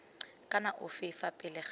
kana ofe fa pele ga